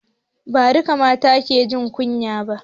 Ba duka mata ke jin kunya ba